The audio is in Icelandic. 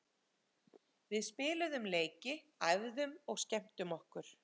Við spiluðum leiki, æfðum og skemmtum okkur.